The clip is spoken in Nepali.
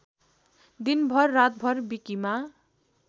दिनभर रातभर विकीमा